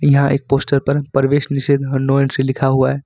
यहां एक पोस्टर पर प्रवेश निषेध नो एंट्री से लिखा हुआ है।